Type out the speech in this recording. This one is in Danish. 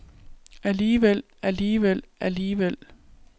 alligevel alligevel alligevel